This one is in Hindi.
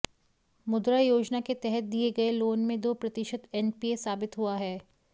मुद्रा योजना के तहत दिए गए लोन में दो प्रतिशत एनपीए साबित हुआ है